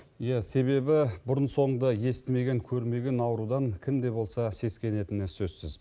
иә себебі бұрын соңды естімеген көрмеген аурудан кімде болса сескенетіні сөзсіз